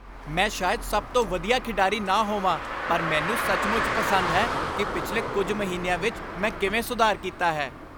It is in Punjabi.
ਮੈਂ ਸ਼ਾਇਦ ਸਭ ਤੋਂ ਵਧੀਆ ਖਿਡਾਰੀ ਨਾ ਹੋਵਾਂ ਪਰ ਮੈਨੂੰ ਸੱਚਮੁੱਚ ਪਸੰਦ ਹੈ ਕਿ ਪਿਛਲੇ ਕੁੱਝ ਮਹੀਨਿਆਂ ਵਿੱਚ ਮੈਂ ਕਿਵੇਂ ਸੁਧਾਰ ਕੀਤਾ ਹੈ।